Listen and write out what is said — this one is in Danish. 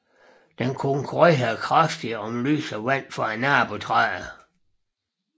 Den konkurrerer kraftigt om lys og vand med nabotræer